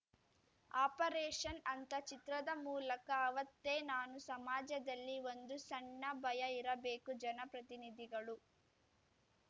operation ಅಂತ ಚಿತ್ರದ ಮೂಲಕ ಅವತ್ತೇ ನಾನು ಸಮಾಜದಲ್ಲಿ ಒಂದು ಸಣ್ಣ ಭಯ ಇರಬೇಕು ಜನಪ್ರತಿನಿಧಿಗಳು